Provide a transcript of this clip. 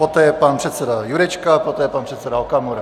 Poté pan předseda Jurečka, poté pan předseda Okamura.